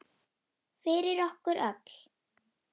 Fyrir okkur öll.